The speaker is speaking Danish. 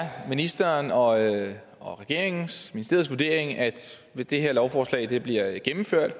ministeren og og regeringens ministeriets vurdering at hvis det her lovforslag bliver gennemført